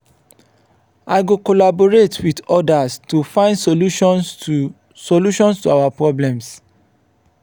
i go collaborate with others to find solutions to solutions to our problems.